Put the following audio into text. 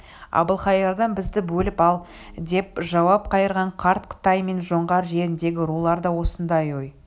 әбілқайырдан бізді бөліп ал деп жауап қайырған қарт қытай мен жоңғар жеріндегі рулар да осындай ой